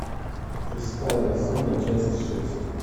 шестая зона часть шесть